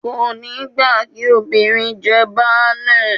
Kò ní gbà kí “ obìnrin jẹ baálé ”